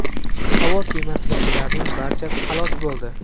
Havo kemasidagilarning barchasi halok bo‘ldi.